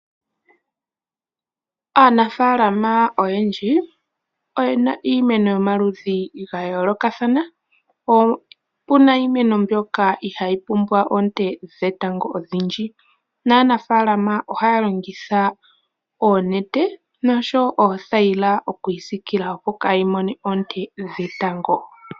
Aanafalama oyendji oyena iimeno yo maludhi ga yoolokathana. Opuna iimeno mbyoka ihayi pumbwa oonte dhetango odhindj, naanafalama ohaya longitha oonete noshowo oothayila oku yi siikila opo kayi mone oonte dhetango.